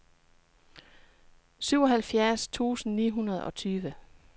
syvoghalvfjerds tusind ni hundrede og tyve